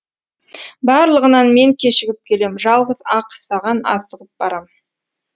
барлығынан мен кешігіп келем жалғыз ақ саған асығып барам